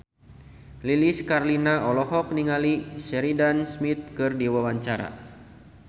Lilis Karlina olohok ningali Sheridan Smith keur diwawancara